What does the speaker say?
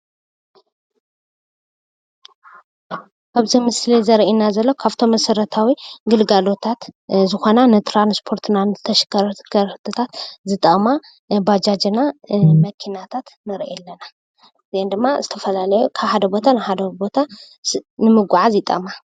ኣብዚ ምስሊ ዘሪአና ዘሎ ካብቶም መሰረታዊ ግልጋሎታት ዝኾና ንትራስፖርት ተሽከርከርት ዝጠቕማ በጃጅ እና መኪናታት ንርኤ ኣለና። እዚአን ድማ ካብ ሓደ ቦታ ናብ ሓደ ቦታ ንምጓዓዓዝ ይጥቕማና።